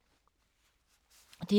DR2